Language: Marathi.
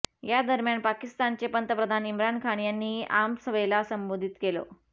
या दरम्यान पाकिस्तानचे पंतप्रधान इम्रान खान यांनीही आमसभेला संबोधित केलं